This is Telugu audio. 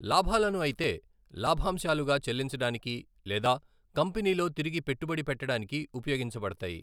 లాభాలను అయితే లాభాంశాలుగా చెల్లించడానికి లేదా కంపెనీలో తిరిగి పెట్టుబడి పెట్టడానికి ఉపయోగించబడతాయి.